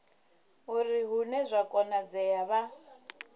uri hune zwa konadzea vha